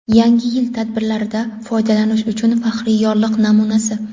Yangi yil tadbirlarida foydalanish uchun faxriy yorliq namunasi.